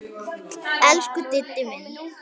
Elsku Diddi minn.